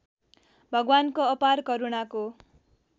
भगवानको अपार करुणाको